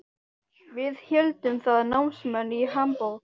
Við héldum það, námsmenn í Hamborg.